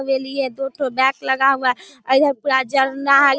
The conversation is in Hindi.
हवेली है दो ठो बेड लगा हुआ है इधर पूरा झरना है।